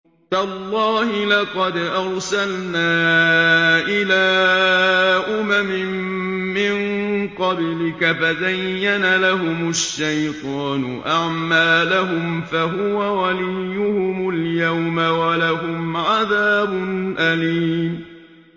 تَاللَّهِ لَقَدْ أَرْسَلْنَا إِلَىٰ أُمَمٍ مِّن قَبْلِكَ فَزَيَّنَ لَهُمُ الشَّيْطَانُ أَعْمَالَهُمْ فَهُوَ وَلِيُّهُمُ الْيَوْمَ وَلَهُمْ عَذَابٌ أَلِيمٌ